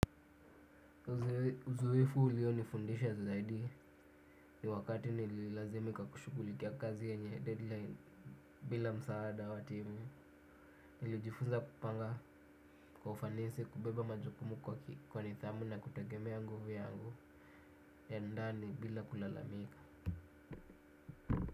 Uzoefu ulionifundisha zaidi ni wakati nililazimika kushughulikia kazi yenye deadline bila msaada wa timu nilijifunza kupanga kwa ufanisi kubeba majukumu kwa nidhamu na kutegema nguvu yangu ya ndani bila kulalamika.